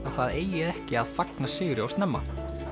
það eigi ekki að fagna sigri of snemma